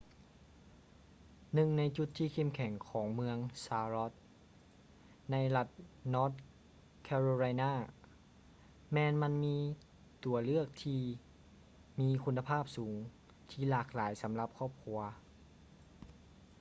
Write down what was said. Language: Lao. ໜຶ່ງໃນຈຸດທີ່ເຂັ້ມແຂງຂອງເມືອງ ຊາລັອດ charlotte ໃນລັດ ນອທ໌ ແຄໂຣໄລນາ north carolina ແມ່ນມັນມີຕົວເລືອກທີ່ມີຄຸນນະພາບສູງທີ່ຫຼາກຫຼາຍສຳລັບຄອບຄົວ